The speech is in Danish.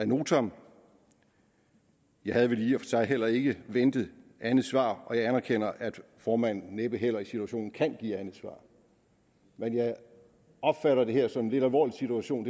notam jeg havde vel i og for sig heller ikke ventet andet svar og jeg anerkender at formanden næppe heller i situationen kan give andet svar men jeg opfatter det her som en lidt alvorlig situation